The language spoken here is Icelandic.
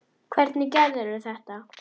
Hvernig gerirðu þetta?